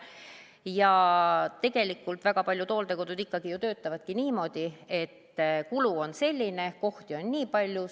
Ja tegelikult väga paljud hooldekodud ikkagi ju töötavadki niimoodi, et kulu on selline, kohti on nii palju.